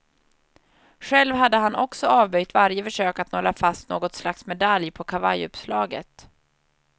Själv hade han också avböjt varje försök att nåla fast något slags medalj på kavajuppslaget.